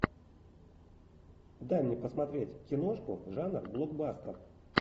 дай мне посмотреть киношку жанр блокбастер